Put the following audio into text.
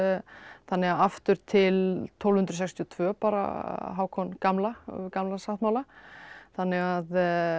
þannig að aftur til tólf hundruð sextíu og tvö bara Hákon gamla Gamla sáttmála þannig að